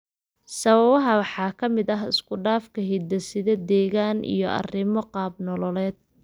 Sababaha waxaa ka mid ah isku dhafka hidde-side, deegaan, iyo arrimo qaab nololeed.